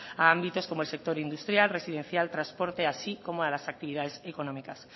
a ámbitos como el sector industrial residencial transporte así como a las actividades económicas